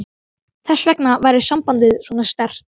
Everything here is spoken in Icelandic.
Þess vegna væri sambandið svona sterkt.